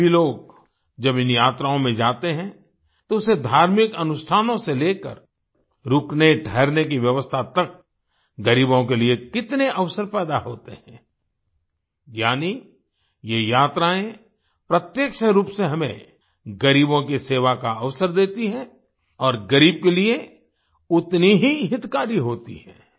आज भी लोग जब इन यात्राओं में जाते हैं तो उसे धार्मिक अनुष्ठानों से लेकर रुकनेठहरने की व्यवस्था तक गरीबों के लिए कितने अवसर पैदा होते हैं यानी ये यात्राएं प्रत्यक्ष रूप से हमें गरीबों की सेवा का अवसर देती हैं और गरीब के लिए उतनी ही हितकारी होती हैं